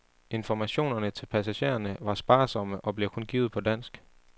Informationerne til passagererne var sparsomme, og blev kun givet på dansk.